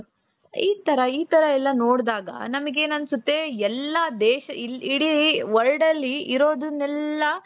ಈ ತರ ಈ ತರ ಎಲ್ಲಾ ನಿಮಗೇನ್ ಅನ್ಸುತ್ತೆ ಎಲ್ಲಾ ದೇಶ ಇಡೀ world ಅಲ್ಲಿ ಇರೋದನ್ನೆಲ್ಲ.